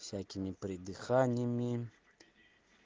всякими придыханиями